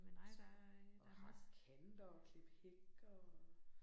Også at hakke kanter og klippe hæk og